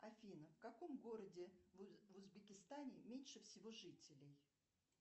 афина в каком городе в узбекистане меньше всего жителей